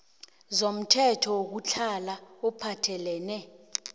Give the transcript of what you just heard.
zomthetho wokutlhala ophathelene